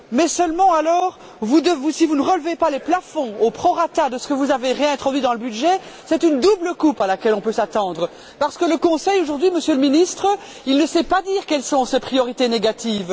Seulement, si vous ne relevez pas les plafonds au prorata de ce que vous avez réintroduit dans le budget, c'est une double coupe à laquelle on peut s'attendre, parce que le Conseil, aujourd'hui, Monsieur le Ministre, ne peut pas dire quelles sont ses priorités négatives.